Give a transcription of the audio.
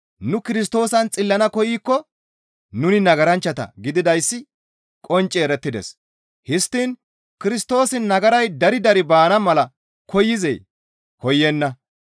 «Nu Kirstoosan xillana koykko nuni nagaranchchata gididayssi qoncci erettides; histtiin Kirstoosi nagaray dari dari baana mala koyzee? Koyenna.